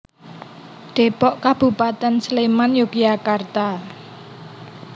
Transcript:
Dépok Kabupatén Sléman Yogyakarta